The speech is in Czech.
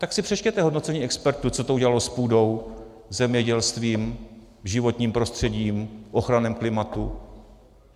Tak si přečtěte hodnocení expertů, co to udělalo s půdou, zemědělstvím, životním prostředím, ochranou klimatu.